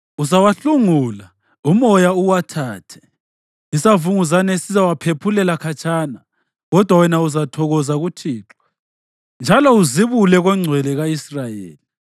Uzawahlungula, umoya uwathathe, isavunguzane siwaphephulele khatshana. Kodwa wena uzathokoza kuThixo njalo uzibule koNgcwele ka-Israyeli.